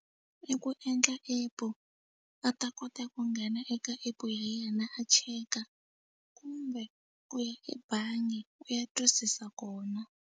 I ku endla app a ta kota ku nghena eka app hi yena a cheka kumbe ku ya ebangi u ya twisisa kona.